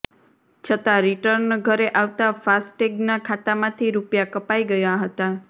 છતાં રિર્ટન ઘરે આવતાં ફાસ્ટેગના ખાતામાંથી રૂપિયા કપાઈ ગયા હતાં